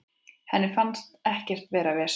Henni fannst ekkert vera vesen.